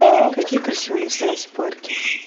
какие красивые места есть в парке